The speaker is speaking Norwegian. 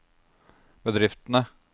bedriftene